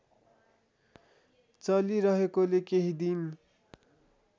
चलिरहेकोले केही दिन